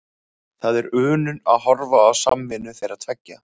Það er unun að horfa á samvinnu þeirra tveggja.